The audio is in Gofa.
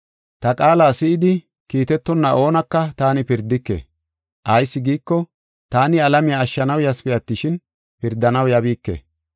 Ta qaala si7idi kiitetonna oonaka taani pirdike. Ayis giiko, taani alamiya ashshanaw yasipe attishin, pirdanaw yabiike.